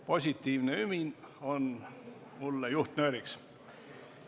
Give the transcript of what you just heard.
Positiivne ümin on mulle juhtnööriks.